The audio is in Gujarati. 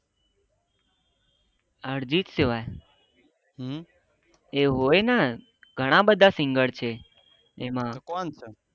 અર્જિત સિવા એ હોય ને ઘણા બધા સિંગર છે એન્નો